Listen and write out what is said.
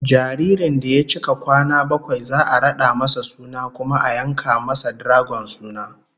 Jaririn da ya cika kwana bakwai za'a rada masa suna kuma a yanka masa dragon suna